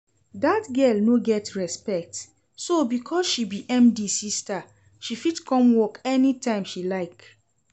Dat girl no get respect, so because she be MD sister she fit come work anytime she like?